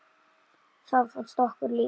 Það fannst okkur líka.